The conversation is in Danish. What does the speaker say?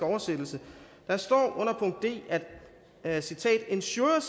oversættelse der står under punkt d at citat ensures